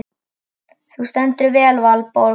Þú stendur þig vel, Valborg!